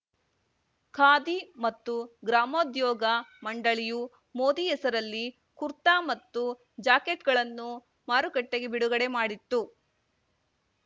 ಖಾದಿ ಮತ್ತು ಗ್ರಾಮೋದ್ಯೋಗ ಮಂಡಳಿಯು ಮೋದಿ ಹೆಸರಲ್ಲಿ ಕುರ್ತಾ ಮತ್ತು ಜಾಕೆಟ್‌ಗಳನ್ನು ಮಾರುಕಟ್ಟೆಗೆ ಬಿಡುಗಡೆ ಮಾಡಿತ್ತು